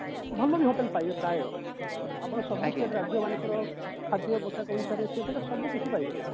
ଭଲ hotel ପାଇବେ ପ୍ରାୟ ଆପଣ ସବୁ state ରାଜ୍ୟ ମାନଙ୍କର ଖାଦ୍ୟ ପୋଷାକ ଅନୁସାରେ ସେ ସବୁକିଛି ପାଇବେ ସେଠି